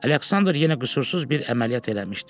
Aleksandr yenə qüsursuz bir əməliyyat eləmişdi.